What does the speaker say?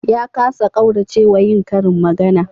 Ya kasa ƙaurace wa yin karin magana